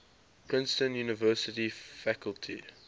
princeton university faculty